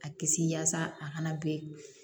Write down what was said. A kisi yaasa a kana bilen